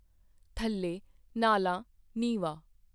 ਥੱਲੇ, ਨਾਲਾਂ, ਨੀਂਵਾ